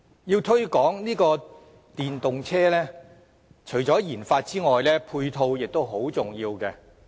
要推廣電動車，除了研發外，配套亦十分重要。